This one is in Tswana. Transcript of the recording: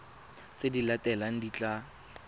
tse di latelang di tla